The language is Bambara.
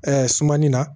sumani na